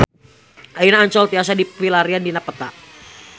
Ayeuna Ancol tiasa dipilarian dina peta